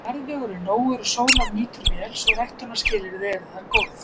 Jarðvegur er nógur og sólar nýtur vel, svo ræktunarskilyrði eru þar góð.